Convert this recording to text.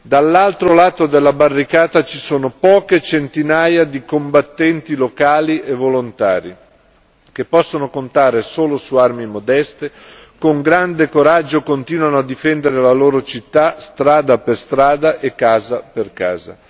Dall'altro lato della barricata ci sono poche centinaia di combattenti locali e volontari, che possono contare solo su armi modeste e con grande coraggio continuano a difendere la loro città, strada per strada e casa per casa.